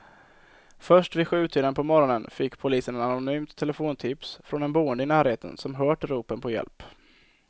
Först vid sjutiden på morgonen fick polisen ett anonymt telefontips från en boende i närheten som hört ropen på hjälp.